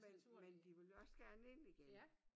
Men men de vil også gerne ind igen